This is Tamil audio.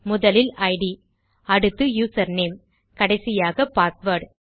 முதலில் இட் அடுத்து யூசர் நேம் கடைசியாக பாஸ்வேர்ட்